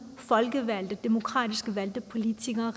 folkevalgte demokratisk valgte politikere